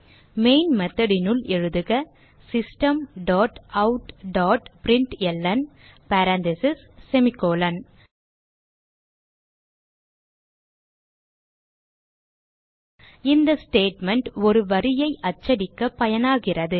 main method னுள் எழுதுக system dot out dot println parentheses semi colon இந்த statement ஒரு வரியை அச்சடிக்க பயனாகிறது